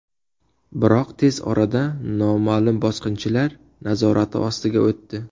Biroq tez orada noma’lum bosqinchilar nazorati ostiga o‘tdi.